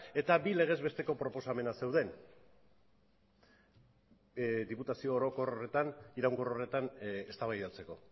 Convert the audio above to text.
eta bi legezbesteko proposamenak zeuden diputazio iraunkor horretan eztabaidatzeko